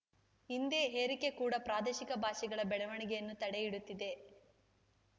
ಹಿಂದಿ ಹೇರಿಕೆ ಕೂಡ ಪ್ರಾದೇಶಿಕ ಭಾಷೆಗಳ ಬೆಳವಣೆಗೆಯನ್ನು ತಡೆ ಹಿಡುತ್ತಿದೆ